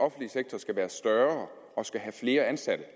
offentlige sektor skal være større og have flere ansatte